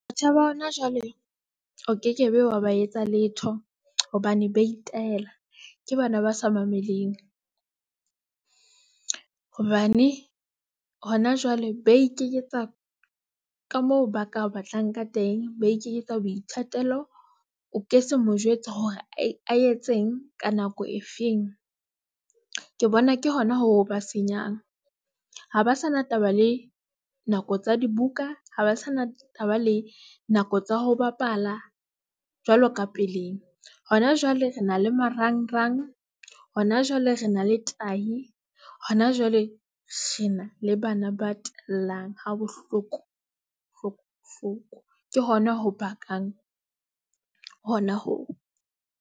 Batjha ba hona jwale o kekebe, wa ba etsa letho hobane ba itaela. Ke bana ba sa mameleng hobane hona jwale ba ikeketsa ka moo ba ka batlang ka teng, ba ikeketsa boithatelo. O ke se mo jwetsa hore a etseng ka nako e feng. Ke bona ke hona ho ba senyang ha ba sa na taba le nako tsa dibuka, ha ba sa na taba le nako tsa ho bapala. Jwalo ka pele, hona jwale re na le marangrang hona jwale re na le tahi hona jwale Re na le bana ba tellang ha bohlokohloko ke hona ho bakang hona.